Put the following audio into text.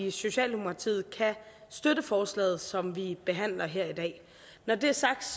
i socialdemokratiet kan støtte forslaget som vi behandler her i dag når det er sagt